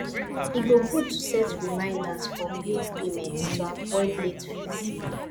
e dey good to set reminders for bill payments to avoid late fees